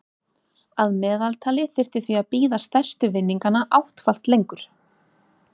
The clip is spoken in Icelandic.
Að meðaltali þyrfti því að bíða stærstu vinninganna áttfalt lengur.